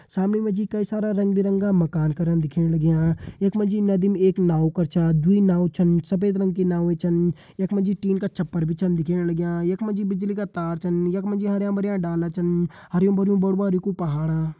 सामने मा जी कई सारा रंग बिरंगा मकान करण दिखेण मकान लग्यां यख मा जी नदी मा जी एक नाव कर छ दुई छ नाव छन सफ़ेद रंग की नाव छन यख मा जी टीन का छप्पर भी छन दिखेण लग्यां यख मा जी बिजली का तार छन यख मा जी हरयां भरयां डाला छन हरयुं भरयुं बड़ू भारी कू पहाड़